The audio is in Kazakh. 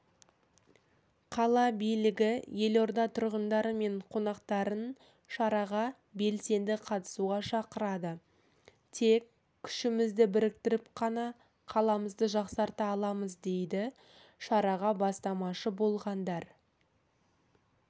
қала билігі елорда тұрғындары мен қонақтарын шараға белсенді қатысуға шақырады тек күшімізді біріктіріп қана қаламызды жақсарта аламыз дейді шараға бастамашы болғандар